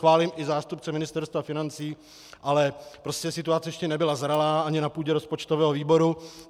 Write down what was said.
Chválím i zástupce Ministerstva financí, ale prostě situace ještě nebyla zralá ani na půdě rozpočtového výboru.